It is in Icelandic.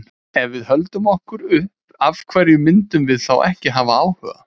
Ef við höldum okkur upp, af hverju myndum við þá ekki hafa áhuga?